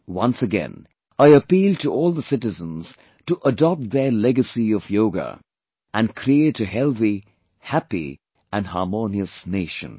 Once again, I appeal to all the citizens to adopt their legacy of yoga and create a healthy, happy and harmonious nation